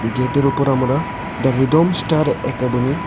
গেটের উপর আমরা দ্য রিদম স্টার একাডেমি --